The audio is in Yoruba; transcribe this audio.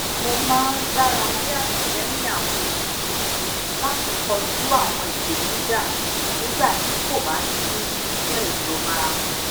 ipolongo latodọ eniyan sábà máa ń jé ona tó dára jù lọ lati rí àwọn oníbàárà tuntun fun mi